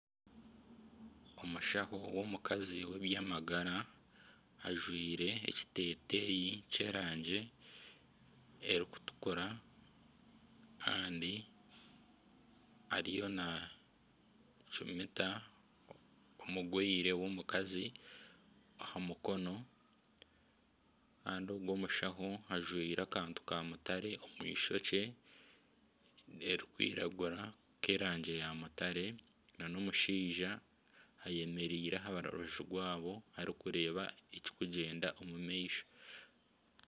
Omushaho w'omukazi w'ebyamagara ajwire ekiteteya ky'erangi erikutukura kandi ariyo nacumita omurwaire w'omukazi aha mukono kandi ogu omushaho ajwire akantu ka mutare omu eishokye erikwiragura k'erangi ya mutare nana omushaija ayemereire aha rubaju rwabo arikureba eki kugyenda omu maisho.